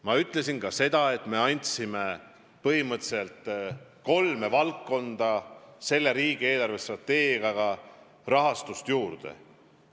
Ma ütlesin ka seda, et me andsime riigi eelarvestrateegiaga põhimõtteliselt kolme valdkonda raha juurde.